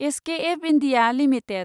SKF India limited